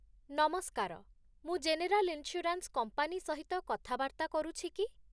ନମସ୍କାର, ମୁଁ general insurance company ସହିତ କଥାବାର୍ତ୍ତା କରୁଛି କି?